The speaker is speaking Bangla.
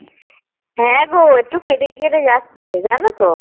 হ্যাঁ গো একটু কেটে কেটে যাচ্ছে জানো তো